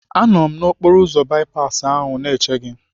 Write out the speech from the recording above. Anọ m n'okporoụzọ bipasi ahụ na-eche gị.